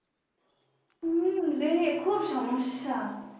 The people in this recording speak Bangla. উম রে, খুব সমস্যা